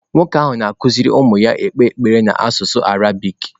Nwoke ahụ na-akụziri ụmụ ya ikpe ekpere n’asụsụ Arabik.